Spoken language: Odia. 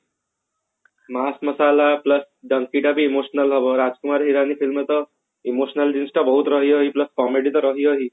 ମସଲା plus ଟା ବି emotional ରାଜକୁମାର ଇରାନୀ film ରେ ତ emotional comedy ତ ରହିବ ହିଁ